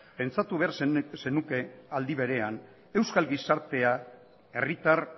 pentsatu beharko zenuke aldi berean euskal gizartea herritar